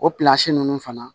O ninnu fana